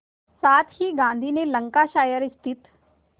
साथ ही गांधी ने लंकाशायर स्थित